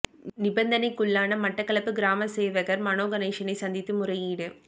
நிந்தனைக்குள்ளான மட்டக்களப்பு கிராம சேவகர் மனோ கணேசனை சந்தித்து முறையீடு